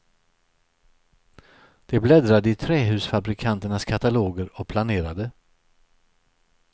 De bläddrade i trähusfabrikanternas kataloger och planerade.